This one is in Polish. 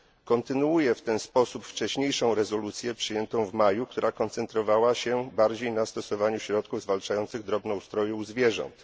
Kontynuuje w ten sposób wcześniejszą rezolucję przyjętą w maju, która koncentrowała się bardziej na stosowaniu środków zwalczających drobnoustroje u zwierząt.